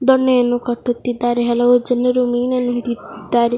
ದೊಣ್ಣೆಯನ್ನು ಕಟ್ಟುತ್ತಿದ್ದಾರೆ ಹಲವು ಜನರು ಮೀನನ್ನು ಹಿಡಿಯುತ್ತಿದ್ದಾರೆ.